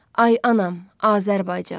Ay anam, Azərbaycan.